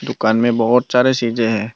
दुकान में बहुत सारे चीजें हैं।